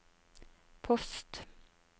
post